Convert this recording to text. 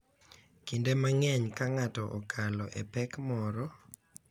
Kinde mang’eny, ka ng’ato okalo e pek moro, .